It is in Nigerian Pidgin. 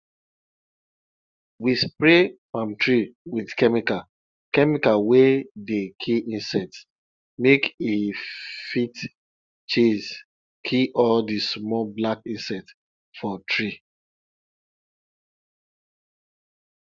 we spray palm tree with chemical chemical wey dey kill insects make e fit chase kill all the small black insects for tree